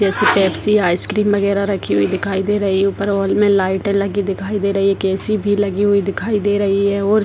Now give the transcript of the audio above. जैसे Pepsi ice cream वगैरा रखी हुई दिखाई दे रही है ऊपर हॉल में लाइटे लगी दिखाई दे रही है एक ए.सी. भी लगी हुई दिखाई दे रही है और --